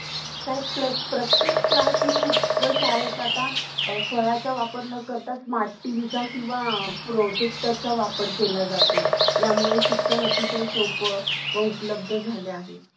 आणि त्याच्यावरच आपल्या सर्व contact आहे